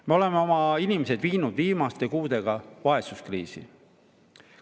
Me oleme oma inimesed viinud viimaste kuudega vaesuskriisi.